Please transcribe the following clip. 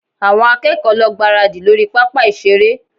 Àwọn akẹ́kọ̀ọ́ lọ gbáradì lórí pápá ìṣeré